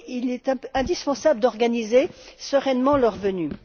Il est indispensable d'organiser sereinement leur venue.